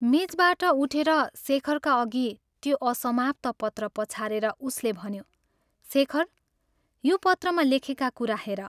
मेचबाट उठेर शेखरका अघि त्यो असमाप्त पत्र पछारेर उसले भन्यो, " शेखर, यो पत्रमा लेखेका कुरा हेर।